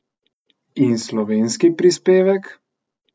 In slovenski prispevek?